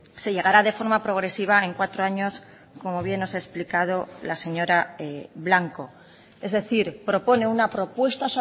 se llegará de forma progresiva en cuatro años como bien nos ha explicado la señora blanco es decir propone una propuesta